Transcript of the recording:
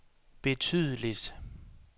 betydeligt